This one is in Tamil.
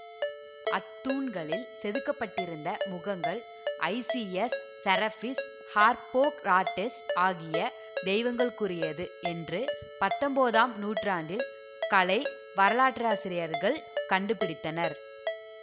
அத்தூண்களில் செதுக்கப்பட்டிருந்த முகங்கள் ஐசிஎஸ் செரப்பிஸ் ஹார்ப்பொக்ராட்டெஸ் ஆகிய தெய்வங்களுக்குரியது என்று பத்தொன்பதாம் நூற்றாண்டில் கலை வரலாற்றாசிரியர்கள் கண்டுபிடித்தனர்